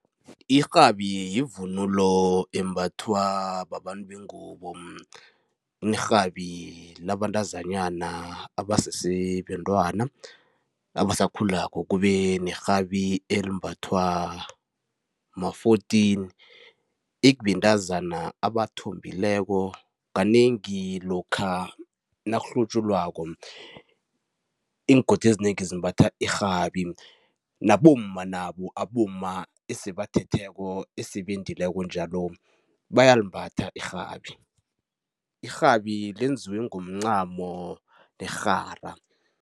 Irhabi yivunulo embathwa babantu bengubo. Kunerhabi labantazanyana abasese bentwana, abasakhulako, kube nerhabi elimbathwa ma-fourteen ekubentazana abathombileko. Kanengi lokha nakuhlutjulwako, iingodi ezinengi zimbatha irhabi nabomma nabo, abomma esebathetheko, esebendileko njalo, bayalimbatha irhabi. Irhabi lenziwe ngomncamo nerhara.